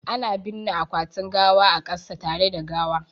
Ana binne akwatin gawa a kasa tare da gawa